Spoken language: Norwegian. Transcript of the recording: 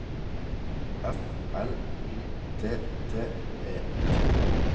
F L Y T T E T